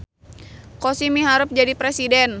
Kosim miharep jadi presiden